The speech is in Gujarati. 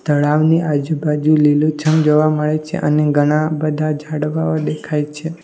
તળાવની આજુબાજુ લીલુ છમ જોવા મળે છે અને ઘણા બધા ઝાડવાઓ દેખાય છે.